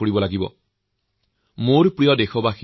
যক্ষ্মাৰ পৰা মুক্তি পোৱাৰ বাবে আমি সকলোৱে একেলগে চেষ্টা কৰিব লাগিব